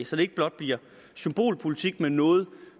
så det ikke blot bliver symbolpolitik men noget